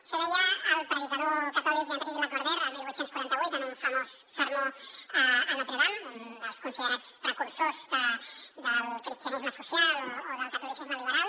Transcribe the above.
això deia el predicador catòlic henri lacordaire el divuit quaranta vuit en un famós sermó a notre dame un dels considerats precursors del cristianisme social o del catolicisme liberal